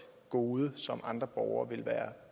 gode som andre borgere vil være